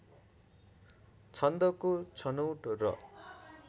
छन्दको छनोट र